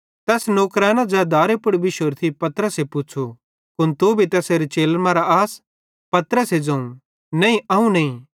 तैस नौकरेनां ज़ै दारे पुड़ थी पतरसे पुच़्छ़ू कुन तू भी तैसेरे चेलन मरां आस पतरस ज़ोवं नईं अवं नईं